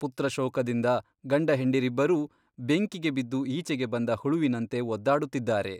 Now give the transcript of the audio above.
ಪುತ್ರಶೋಕದಿಂದ ಗಂಡಹೆಂಡಿರಿಬ್ಬರೂ ಬೆಂಕಿಗೆ ಬಿದ್ದು ಈಚೆಗೆ ಬಂದ ಹುಳುವಿನಂತೆ ಒದ್ದಾಡುತ್ತಿದ್ದಾರೆ.